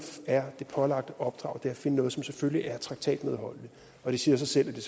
er det pålagte opdrag er at finde noget som selvfølgelig er traktatmedholdeligt og det siger sig selv at det